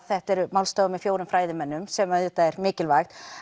þetta málstofur með fjórum fræðimönnum sem er mikilvægt